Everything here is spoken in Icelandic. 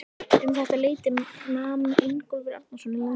Um þetta leyti nam Ingólfur Arnarson land í